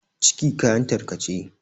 ciki kayan tarkace